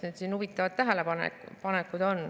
Siin on huvitavaid tähelepanekuid.